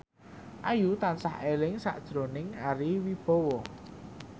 Ayu tansah eling sakjroning Ari Wibowo